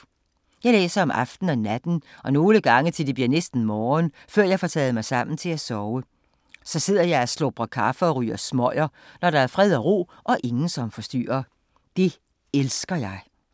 Jeg læser om aftenen og natten og nogle gange bliver det næsten morgen, før jeg får taget mig sammen til at sove. Så sidder jeg og slubrer kaffe og ryger smøger, når der er fred og ro og ingen som forstyrrer. Det elsker jeg.